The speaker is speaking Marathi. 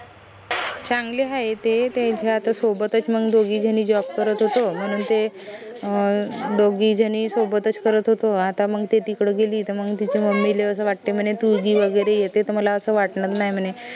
चांगले हाय ते त्यांना आता सोबतच मंग दोघी झनी job करत होतो म्हनून ते अं दोघी झनी सोबतच करत होतो आता मंग ते तिकडं गेली त मंग तिच्या mummy ले असं वाटते म्हने तू गी वगैरे येते त मला असं वाटते म्हने